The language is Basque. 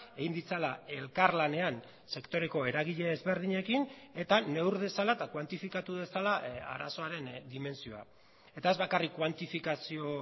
egin ditzala elkarlanean sektoreko eragile ezberdinekin eta neur dezala eta kuantifikatu dezala arazoaren dimentsioa eta ez bakarrik kuantifikazio